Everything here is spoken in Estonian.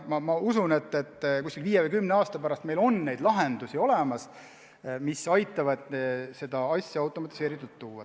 Ma usun, et viie või kümne aasta pärast meil on lahendusi, mis aitavad selliseid asju automatiseeritult teha.